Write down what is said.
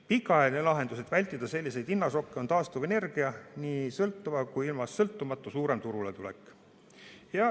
Pikaajaline lahendus, et vältida selliseid hinnašokke, on taastuvenergia, nii sõltuva kui ka ilmast sõltumatu, suurem turuletulek.